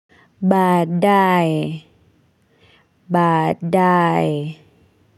Baadaye, baadaye.